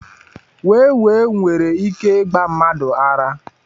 Wee wee nwere ike ịgba mmadụ ara.